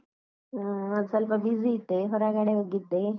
ಹಾ, ಸ್ವಲ್ಪ busy ಇದ್ದೆ ಹೊರಗಡೆ ಹೋಗಿದ್ದೆ.